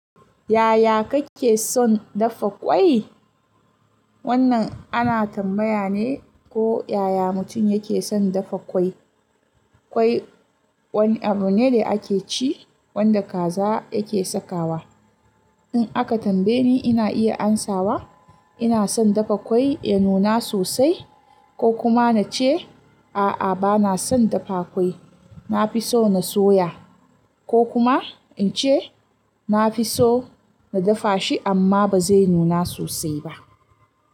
Yaya kake son dafa ƙwai? Wannan ana tambaya ne ko yaya mutum yake son dafa ƙwai. Kwai wani abu ne da ake ci wanda kaza yake sakawa. In aka tambaye ni ina iya amsawa ina son dafa ƙwai ya nuna sosai ko kuma na ce a'a bana son dafa ƙwai, na fi so na soya ko kuma in ce na fi so na dafa shi amma ba zai nuna sosai ba.